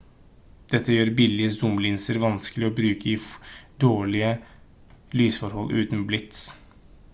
dette gjør billige zoom-linser vanskelig å bruke i dårlige lysforhold uten blits